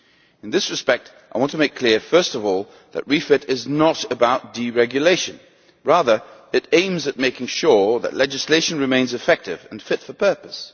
In this respect, I want to make clear, first of all, that REFIT is not about deregulation. Rather, it aims at making sure that legislation remains effective and fit for purpose.